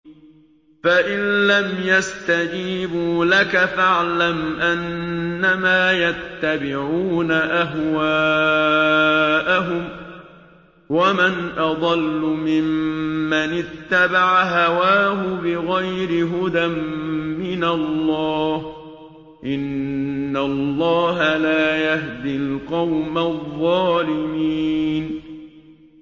فَإِن لَّمْ يَسْتَجِيبُوا لَكَ فَاعْلَمْ أَنَّمَا يَتَّبِعُونَ أَهْوَاءَهُمْ ۚ وَمَنْ أَضَلُّ مِمَّنِ اتَّبَعَ هَوَاهُ بِغَيْرِ هُدًى مِّنَ اللَّهِ ۚ إِنَّ اللَّهَ لَا يَهْدِي الْقَوْمَ الظَّالِمِينَ